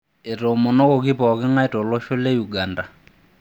Eitoomonoki pooking'ae tolosho le Uganda.